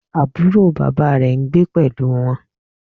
Àbúrò bàbá rẹ̀ n gbé pẹ̀lú wọn